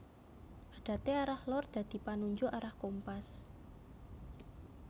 Adate arah lor dadi panunjuk arah kompas